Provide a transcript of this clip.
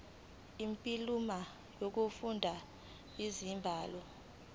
imiphumela yokufunda izibalo